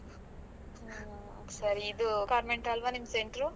ಹ್ಮ್ ಸರಿ, ಇದು convent ಅಲ್ವಾ ನಿಮ್ center ರು?